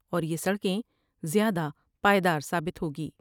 اور یہ سڑکیں زیادہ پائیدار ثابت ہوگی ۔